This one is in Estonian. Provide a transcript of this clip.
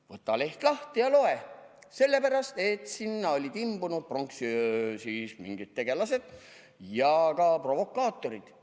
Võta leht lahti ja loe: sellepärast, et sinna olid imbunud pronksiöö mingid tegelased ja ka provokaatorid.